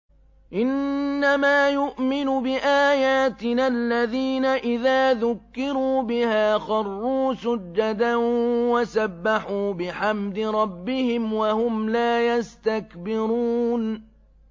إِنَّمَا يُؤْمِنُ بِآيَاتِنَا الَّذِينَ إِذَا ذُكِّرُوا بِهَا خَرُّوا سُجَّدًا وَسَبَّحُوا بِحَمْدِ رَبِّهِمْ وَهُمْ لَا يَسْتَكْبِرُونَ ۩